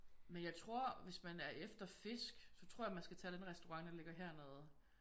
Men jeg tror hvis man er efter fisk så tror jeg man skal tage den restaurant hernede